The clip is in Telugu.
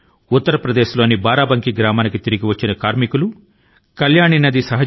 ఉత్తర్ ప్రదేశ్ లోని బారాబంకీ గ్రామాని కి తిరిగి వచ్చిన ప్రవాసీ శ్రామికులు కల్యాణి నది ని ప్రక్షాళన చేశారు